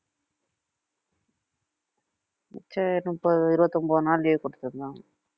சரி முப்பது இருபத்தி ஒன்பது நாள் leave குடுத்துருந்தாங்க